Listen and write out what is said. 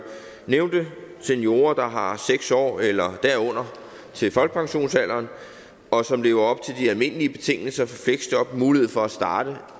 nævnte seniorer der har seks år eller derunder til folkepensionsalderen og som lever op til de almindelige betingelser for fleksjob mulighed for at starte